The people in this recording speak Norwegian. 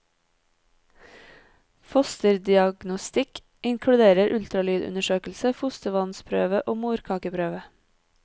Fosterdiagnostikk inkluderer ultralydundersøkelse, fostervannsprøve og morkakeprøve.